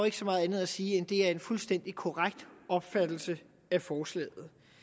ikke så meget andet at sige end at det er en fuldstændig korrekt opfattelse af forslaget